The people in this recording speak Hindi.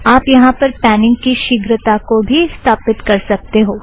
आप यहाँ पर पॅनींग की शीग्रता को भी स्थापीत कर सकते हो